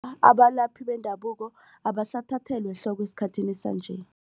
Abalaphi bendabuko abasathathelwa ehloko esikhathini sanje.